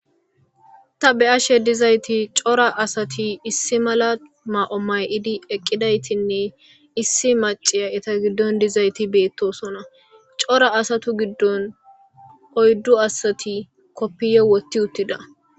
Ta be ashe dizayti cora asati issi mala ma,o may,idi eqqidaytinne issi maciya eta giddon dizayti beettosona cora asatu giddon oyddu asati koppiye wotti uttida.